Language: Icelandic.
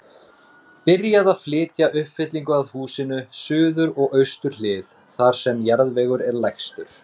Byrjað að flytja uppfyllingu að húsinu, suður og austur hlið, þar sem jarðvegur er lægstur.